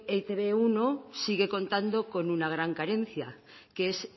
etb uno sigue contando con una gran carencia que es